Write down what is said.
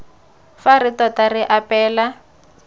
fa re tota re apeela